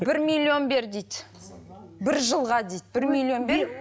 бір миллион бер дейді бір жылға дейді бір миллион бер